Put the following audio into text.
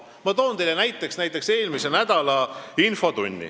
Ma toon teile näiteks eelmise nädala infotunni.